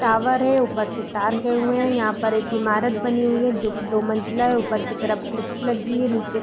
tower है ऊपर से तार गए हुए है यहाँ पर एक इमारत बनी हुई है जो कि दो मंजिला है ऊपर की तरफ खिड़की लगी है नीचे --